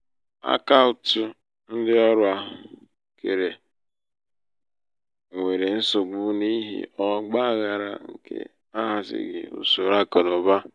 akaụtụ ndị ọrụ ahụ um kere um nwere nsogbu n'ihi ọgba aghara um nke ahazighị usoro akụnaụba.